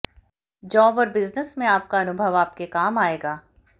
job और business में आपका अनुभव आपके काम आएगा